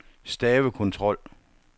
stavekontrol